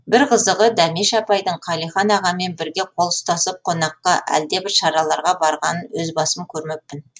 бір қызығы дәмеш апайдың қалихан ағамен бірге қол ұстасып қонаққа әлдебір шараларға барғанын өз басым көрмеппін